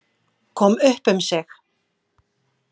Kom upp um sig.